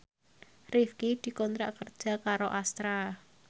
Rifqi dikontrak kerja karo Astra